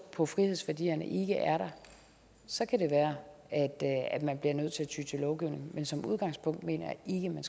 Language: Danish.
på frihedsværdierne ikke er der så kan det være at man bliver nødt til at ty til lovgivning men som udgangspunkt mener